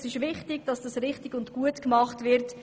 Es ist wichtig, dass dies richtig und gut gemacht wird.